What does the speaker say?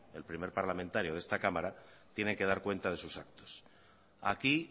el primer parlamentario de esta cámara tiene que dar cuenta de sus actos aquí